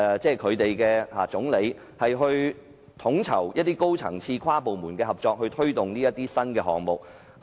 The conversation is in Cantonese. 新加坡總理負責統籌高層次及跨部門的合作，推動新項目。